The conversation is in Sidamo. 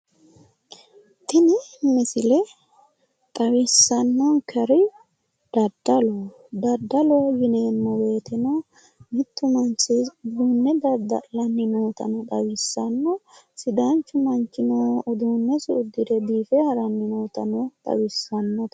Tini misile xawissannonkeri daddaloho, daddaloho yineemmo woyteno mittu manchi uduunne dadda'lanni nootano xawissanno, sidaanchu manchino uduunnesi uddire biife haranni noota xawissannote.